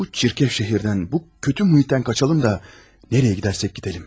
Bu çirkəf şəhərdən, bu kötü mühütdən qaçalım da, nəriyə gedərsək gedəlim.